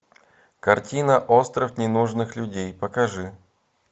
картина остров ненужных людей покажи